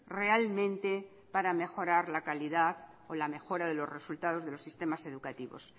realmente para mejorar la calidad o la mejora de los resultados de los sistemas educativos